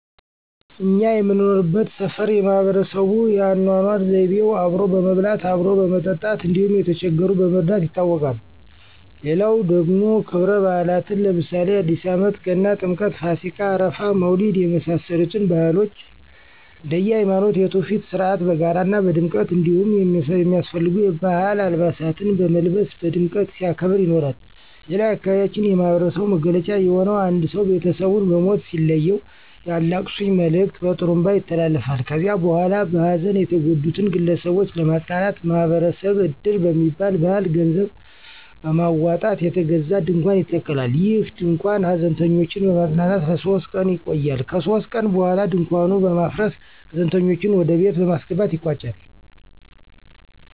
እኛ የምንኖርበት ሠፈር የማህበረሰቡ የአኖኖር ዘይቤው አብሮ በመብላት፣ አብሮ በመጠጣት እንዲሁም የተቸገሩትን በመርዳት ይታወቃል። ሌላው ደግሞ ከብረባእላትን ለምሳሌ አዲስአመት፣ ገና፣ ጥምቀት፣፣ ፋሲካ፣ አረፋ፣ መውሊድ የመሳሰሉትን ባህሎች እንደየሀይማኖቱ የቱፊት ሥርአት በጋራ ና በድምቀት እንዲሁም የሚያስፈልጉ የባህል አልባሳትን በመልበስ በድምቀት ሲያከብር ይኖራል። ሌላው የአካባቢያችን የማህበረሰቡ መገለጫ የሆነው አንድ ሰው ቤተሰቡን በሞት ሲለየው የአላቅሱኝ መልእክት በጥሩንባ ይተላለፋል ከዚያ በኋላ በሀዘን የተጎዱትን ግለሰቦች ለማጽናናት ማህበረሰብ እድር በሚባል ባህል ገንዘብ በማውጣት የተገዛ ድንኳን ይተከላል። ይህ ድንኳን ሀዘንተኞችን በማፅናናት ለሶስት ቀን ይቆያል ከሶስት ቀን በኋላ ድንኳኑን በማፍረስ ሀዘንተኞችን ወደቤት በማስገባት ይቋጫል።